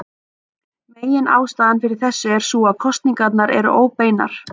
Meginástæðan fyrir þessu er sú að kosningarnar eru óbeinar.